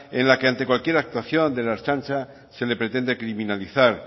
en la que ante cualquier actuación de la ertzaintza se le pretende criminalizar